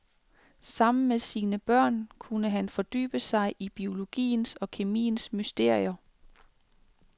Sammen med sine børn kunne han fordybe sig i biologiens og kemiens mysterier.